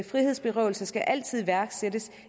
frihedsberøvelse skal altid iværksættes